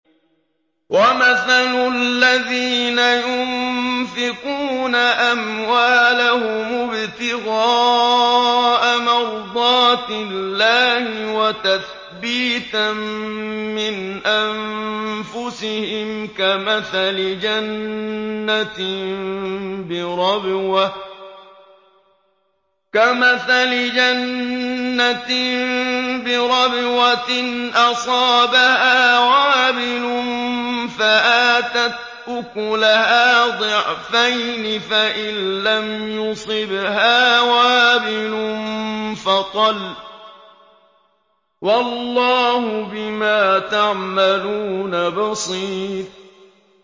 وَمَثَلُ الَّذِينَ يُنفِقُونَ أَمْوَالَهُمُ ابْتِغَاءَ مَرْضَاتِ اللَّهِ وَتَثْبِيتًا مِّنْ أَنفُسِهِمْ كَمَثَلِ جَنَّةٍ بِرَبْوَةٍ أَصَابَهَا وَابِلٌ فَآتَتْ أُكُلَهَا ضِعْفَيْنِ فَإِن لَّمْ يُصِبْهَا وَابِلٌ فَطَلٌّ ۗ وَاللَّهُ بِمَا تَعْمَلُونَ بَصِيرٌ